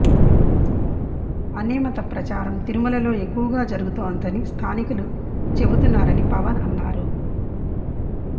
అన్యమత ప్రచారం తిరుమలలో ఎక్కువగా జరుగుతోందని స్థానికులు చెబుతున్నారని పవన్ అన్నారు